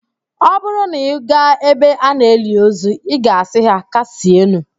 Ọ bụrụ na ị gaa ebe a na-eli ozu, ị ga-asị ha, "kasienụ"